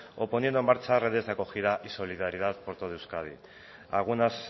o poniendo en marcha redes de acogida y solidaridad por todo euskadi algunas